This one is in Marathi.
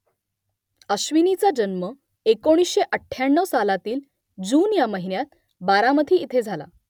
अश्विनीचा जन्म एकोणीसशे अठ्ठ्याण्णव सालातील जून या महिन्यात बारामती इथे झाला